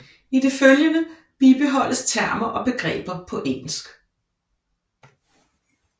I det følgende bibeholdes termer og begreber på engelsk